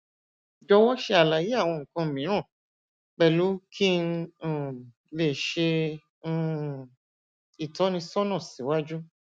jọwọ ṣe àlàyé awọn nnkan mìíràn pẹlú ki n um lè ṣe um ìtọnisọnà siwaju